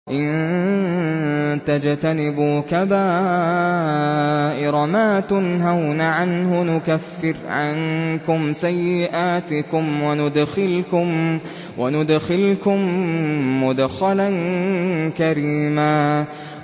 إِن تَجْتَنِبُوا كَبَائِرَ مَا تُنْهَوْنَ عَنْهُ نُكَفِّرْ عَنكُمْ سَيِّئَاتِكُمْ وَنُدْخِلْكُم مُّدْخَلًا كَرِيمًا